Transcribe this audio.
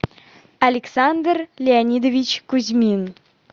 александр леонидович кузьмин